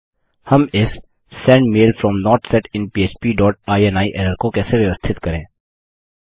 हम इस send mail from not set in पह्प डॉट इनी एरर को कैसे व्यवस्थित करें